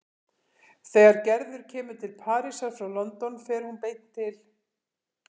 Þegar Gerður kemur til Parísar frá London fer hún beint til